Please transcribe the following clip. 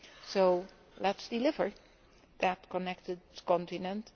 So let us deliver that connected continent.